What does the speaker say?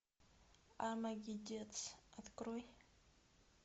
армагеддец открой